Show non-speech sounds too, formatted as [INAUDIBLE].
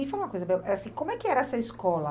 E me fala uma coisa [UNINTELLIGIBLE] eh assim, como é que era essa escola?